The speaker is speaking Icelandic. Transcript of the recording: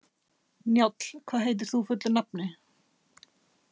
Njáll, hvað heitir þú fullu nafni?